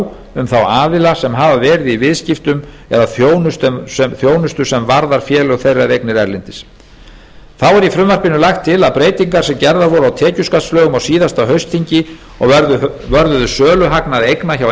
um þá aðila sem hafa verið í viðskiptum eða þjónustu sem varðar félög þeirra eða eignir erlendis þá er í frumvarpinu lagt til að breytingar sem gerðar voru á tekjuskattslögum á síðasta haustþingi og vörðuðu söluhagnað eigna hjá